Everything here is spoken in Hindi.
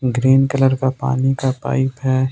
ग्रीन कलर का पानी का पाइप है।